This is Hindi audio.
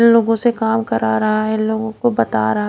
लोगो से काम करा रहा है लोगो को बता रहा है।